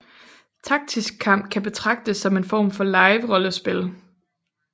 Taktisk kamp kan betragtes som en form for liverollespil